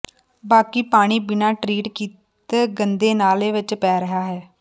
ਬਾਕੀ ਪਾਣੀ ਬਿਨਾਂ ਟਰੀਟ ਕੀਤ ਗੰਦੇ ਨਾਲੇ ਵਿੱਚ ਪੈ ਰਿਹਾ ਹੈ